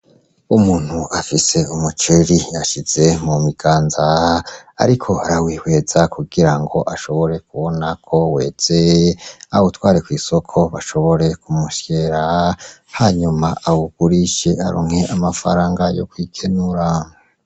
Umuntu afise umuceri yashize mu biganza ariko arawihweza kugira ngo ashobore kubona ko weze awutware kw'isoko bashobore kumusyera hanyuma awugurishe aronke amafaranga ayo kwikenura.